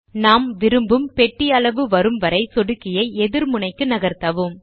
நாம் விரும்பும் பெட்டி அளவு வரும் வரை சொடுக்கியை எதிர் முனைக்கு நகர்த்தவும்